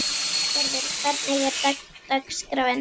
Bryngerður, hvernig er dagskráin?